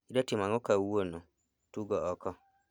Idwa timo ang'o kawuono, tugo oko